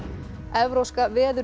evrópska